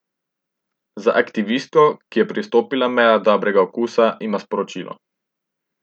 Za aktivistko, ki je prestopila mejo dobrega okusa, ima sporočilo.